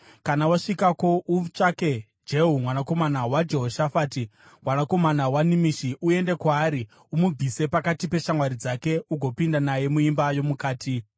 Kana wasvikako, utsvake Jehu, mwanakomana waJehoshafati, mwanakomana waNimishi. Uende kwaari, umubvise pakati peshamwari dzake ugopinda naye muimba yomukati.